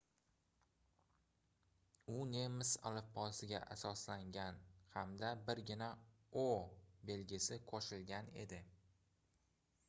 u nemis alifbosiga asoslangan hamda birgina õ/õ belgisi qo'shilgan edi